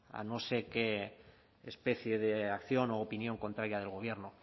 a no sé qué especie de acción u opinión contraria del gobierno